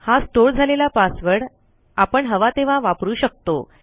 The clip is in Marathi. हा स्टोअर झालेला पासवर्ड आपण हवा तेव्हा वापरू शकतो